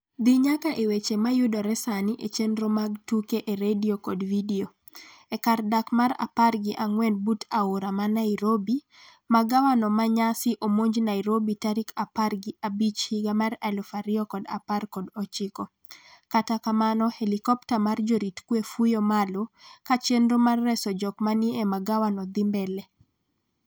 dhi nyaka e weche mayudore sani e chenro mag tuke e redio kod vidio. E kar dak mar apar gi ang'en but aora ma nairobi. Magawano ma nyasi omonj nairobi tarik apar gi abich higa 2019. kata kamano helikpta mar jorit kwe fuyo malo ka chenro mar reso jok ma ni e magawano dhi mbele